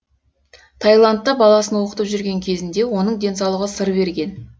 тайландта баласын оқытып жүрген кезінде оның денсаулығы сыр берген